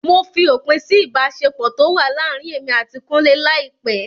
Mo fi òpin sí ìbáṣepọ̀ tó wà láàrin èmi àti kúnlé láìpẹ́.